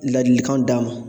Ladilikanw d'a ma